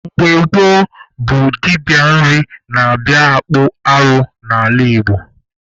Mgbe gboo bụ dibịa nri na-abịa akpụ arụ n'ala Igbo.